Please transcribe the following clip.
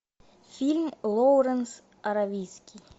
фильм лоуренс аравийский